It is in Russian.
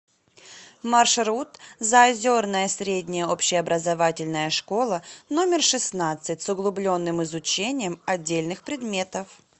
маршрут заозерная средняя общеобразовательная школа номер шестнадцать с углубленным изучением отдельных предметов